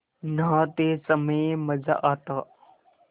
नहाते समय मज़ा आता